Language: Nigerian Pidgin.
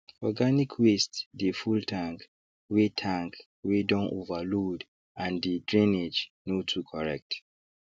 organic waste dey full tank wey tank wey don overload and the drainage no too correct